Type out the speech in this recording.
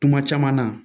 Kuma caman na